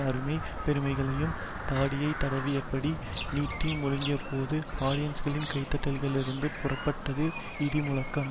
அருமை பெருமைகளையும் தாடியை தடவியபடி நீட்டி முழக்கியபோது ஆடியன்ஸ்களின் கைதட்டல்களிலிருந்து புறப்பட்டது இடி முழக்கம்